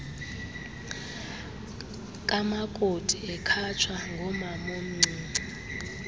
kamakoti ekhatshwa ngomamomncinci